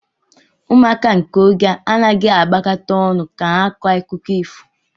Ụmụaka nke ógè a anaghịzi agbakọta ọnụ ka ha kọọ akụkọ ifo